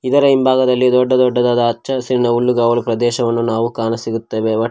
ಇದರ ಹಿಂಭಾಗದಲ್ಲಿ ದೊಡ್ಡ ದೊಡ್ಡದಾದ ಹಚ್ಚ ಹಸಿರಿನ ಹುಲ್ಲುಗಾವಲಿನ ಪ್ರದೇಶವನ್ನು ನಾವು ಕಾಣಸಿಗುತ್ತೇವೆ.